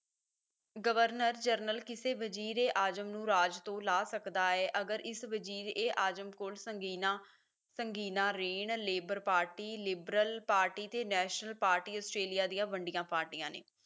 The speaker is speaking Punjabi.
ਗਵਰਨਰ ਜਰਨਲ ਕਿਸੇ ਵਜ਼ੀਰੇ ਆਜਮ ਨੂੰ ਰਾਜ ਤੋਂ ਲਾਹ ਸਕਦਾ ਹੈ ਤੇ ਅਗਰ ਇਸ ਵਜ਼ੀਰ ਏ ਆਜਮ ਕੋਲ ਸੰਗੀਨਾਂ ਸੰਗੀਨਾਂ ਰੇਨ ਲੇਬਰ ਪਾਰਟੀ liberal party ਤੇ national party ਆਸਟ੍ਰੇਲੀਆ ਦੀਆਂ ਵੰਡੀਆਂ ਪਾਰਟੀਆਂ ਨੇ